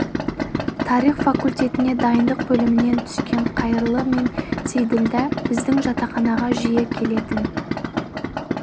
тарих факультетіне дайындық бөлімінен түскен қайырлы мен сейділдә біздің жатақханаға жиі келетін